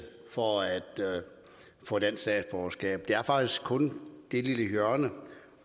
for at få dansk statsborgerskab det er faktisk kun det lille hjørne